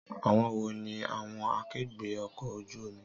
Àwọn wo ni àwọn akẹgbẹ́ ọkọ̀ ojú omi